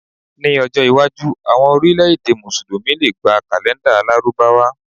Ní ọjọ́ iwájú, àwọn orílẹ̀-èdè Mùsùlùmí lè gba kàlèńdà Lárúbáwá.